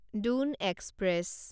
Dune express